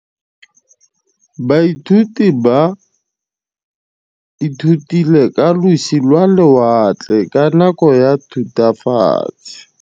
Baithuti ba ithutile ka losi lwa lewatle ka nako ya Thutafatshe.